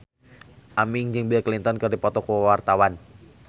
Aming jeung Bill Clinton keur dipoto ku wartawan